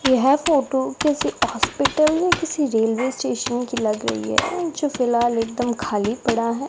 यह फोटो किसी हॉस्पिटल या किसी रेलवे स्टेशन की लग रही है जो फिलहाल एकदम खाली पड़ा है।